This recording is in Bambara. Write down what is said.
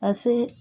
Ka se